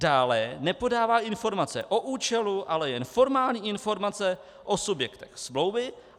Dále nepodává informace o účelu, ale jen formální informace o subjektech smlouvy.